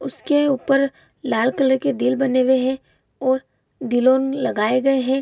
उसके ऊपर लला कलर के दिल बने हुए है और दिलोन लगाए गए है।